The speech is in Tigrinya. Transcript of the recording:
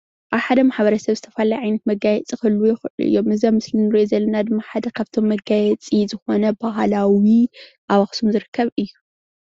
አብ ሓደ ማሕበረሰብ ዝተፈላለዩ መጋየፂ ክህልዉ ይክእሉ እዮም፡፡ እዚአኣብ ምስሊ እንሪኦ ዘለና ድማ ሓደ ካብቶም መጋየፂ ዝኮነ ባህላዊ ኣብ ኣክሱም ዝርከብ እዩ፡፡